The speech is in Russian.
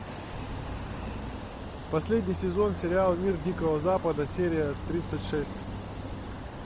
последний сезон сериала мир дикого запада серия тридцать шесть